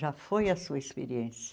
Já foi a sua experiência.